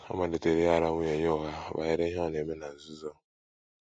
Ọ malitere ịghara nwunye ya ụgha banyere ihe ọ na - eme na nzuzo.